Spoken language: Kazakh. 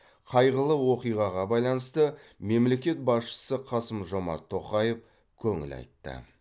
қайғылы оқиғаға байланысты мемлекет басшысы қасым жомарт тоқаев көңіл айтты